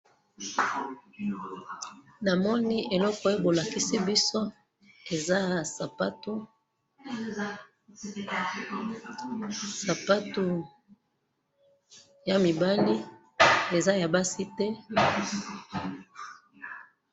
namoni eloko oyo bo lakisi biso eza sapatu, sapatu ya mibali eza ya basi te